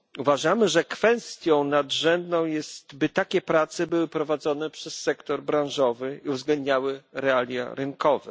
Uważamy, że kwestią nadrzędną jest, by takie prace były prowadzone przez sektor branżowy i uwzględniały realia rynkowe.